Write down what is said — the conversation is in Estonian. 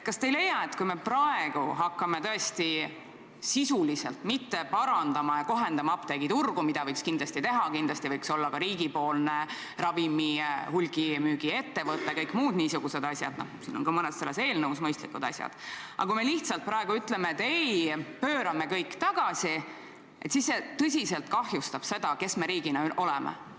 Kas te ei leia, et kui me praegu tõesti ei hakka sisuliselt parandama ja kohendama apteegiturgu – seda võiks kindlasti teha, näiteks võiks olla ka riigipoolne ravimite hulgimüügi ettevõte ja mõned muud mõistlikud asjad, mis mõnes eelnõus kirjas on –, kui me lihtsalt praegu ütleme, et pöörame kõik tagasi, siis see tõsiselt kahjustab meid kui riiki?